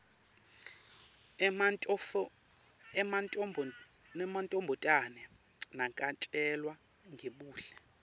emantfombatane nakatjelwa ngebuhle